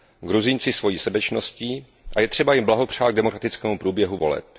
Gruzínci svojí srdečností a je třeba jim blahopřát k demokratickému průběhu voleb.